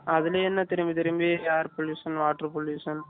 அதுலயே திரும்பி திரும்பி Air pollution water polution